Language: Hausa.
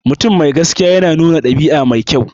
Mutum mai gaskiya yana nuna ɗabi'a mai kyau.